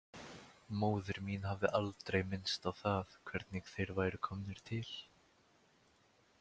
Móðir mín hafði aldrei minnst á það hvernig þeir væru komnir til.